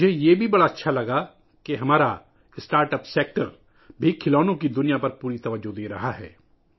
مجھے یہ بھی بہت اچھا لگا کہ ہمارا اسٹارٹ اپ سیکٹر بھی کھلونوں کی دنیا پر پوری توجہ دے رہا ہے